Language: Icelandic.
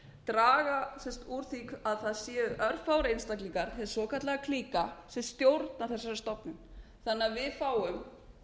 draga úr því að það séu örfáir einstaklingar hin svokallaða klíka sem stjórna þessari stofnun þannig að við fáum hvort sem við erum búin með